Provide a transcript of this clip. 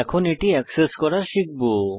এখন এটি এক্সেস করা শিখব